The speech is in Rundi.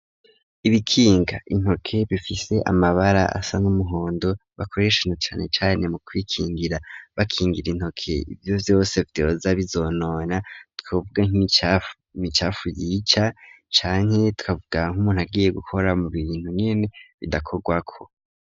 Ibikinga intoke bifite amabara asa n'umuhondo bakoreshana cyane cyane mu kwikingira bakingira intoke ibyo yose vyoza bizonona twavuga nk'imicafu yica canke tukavuga nkumuntu agiye gukora mu bintu nkene bidakorwako.